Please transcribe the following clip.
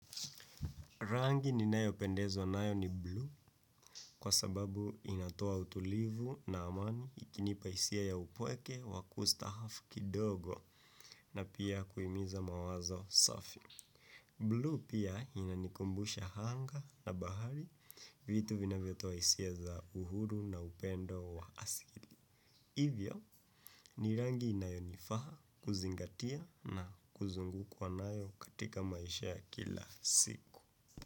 Rangi ni nayo pendezwa nayo ni blue kwa sababu inatoa utulivu na amani ikinipa hisia ya upweke wa kustahafu kidogo na pia kuhimiza mawazo safi. Blue pia inanikumbusha hanga na bahari vitu vinavyo toa hisia za uhuru na upendo wa asili. Hivyo ni rangi inayonifaha kuzingatia na kuzungukwa nayo katika maisha ya kila siku.